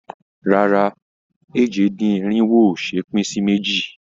Rárá, èje-dín-irinwo ò ṣe é pín sí méjì.